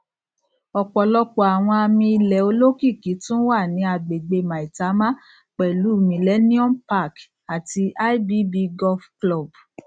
ọpọlọpọ àwọn àmìilẹ olókìkí tún wà ní agbègbè maitama pẹlú millennium park àti ibb golf club